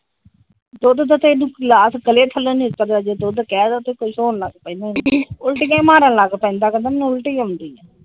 ਦੁੱਧ ਦਾ ਤਾ ਇਹਨੂੰ ਗਲਾਸ ਗੱਲੇ ਥਲੋ ਨੀ ਉਤਰ ਦਾ ਜੇ ਦੁੱਧ ਦਾ ਕਹਿਦੋ ਤੇ ਕੁਜ ਹੋਣ ਲੱਗ ਪੈਂਦਾ ਇਹਨੂੰ ਉਲਟੀਆਂ ਈ ਮਾਰਨ ਲੱਗ ਪੈਂਦਾ ਕਹਿੰਦਾ ਮੇਨੂ ਉਲਟੀ ਆਉਂਦੀ ਆ ।